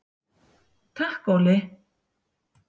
Takk Óli!